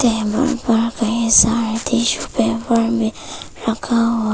table पर कई सारे टिशू पेपर भी रखा हुआ --